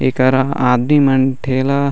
एकरा आदमी मन ठेला--